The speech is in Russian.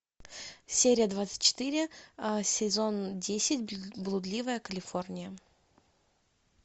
серия двадцать четыре сезон десять блудливая калифорния